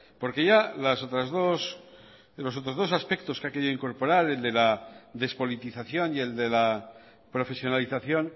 los otros dos aspectos que ha querido incorporar el de la despolitización y el de la profesionalización